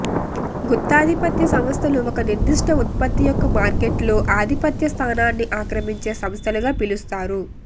గుత్తాధిపత్య సంస్థలు ఒక నిర్దిష్ట ఉత్పత్తి యొక్క మార్కెట్లో ఆధిపత్య స్థానాన్ని ఆక్రమించే సంస్థలుగా పిలుస్తారు